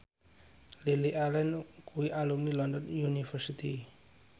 Lily Allen kuwi alumni London University